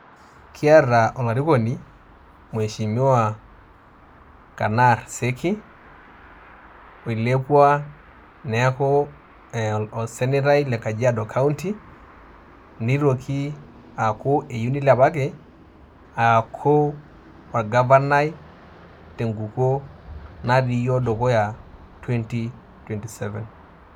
Kiata olarikoni, mheshimiwa Kanar Seki, oilepua neeku osenetai le Kajiado County, nitoki aaku eyieu nilepaki aaku orgavanai tenkukuo natii yiok dukuya, twenty-twenty-seven.